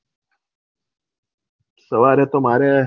સવાર તો મારે